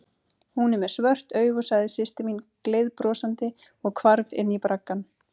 Hún er með svört augu, sagði systir mín gleiðbrosandi og hvarf inní braggann.